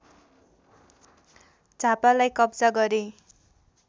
झापालाई कब्जा गरे